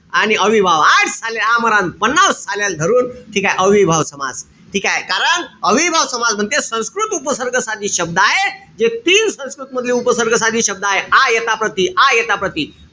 आणि अव्ययीभाव, हाट साल्या आमरण साल्याले धरून. ठीकेय? अव्ययीभाव समास. ठीकेय? कारण अव्ययीभाव समास म्हणते संस्कृत उपसर्ग साधित शब्द आहे जे तीन संस्कृत मधले उपसर्ग साधित शब्द आहे. आ, यथा, प्रति. आ, यथा, प्रति.